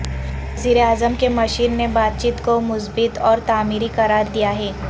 وزیر اعظم کے مشیر نے بات چیت کو مثبت اور تعمیری قرار دیا ہے